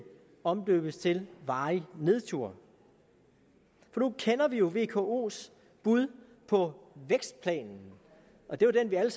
omdøbes til varig nedtur for nu kender vi jo vkos bud på vækstplanen og det var den vi alle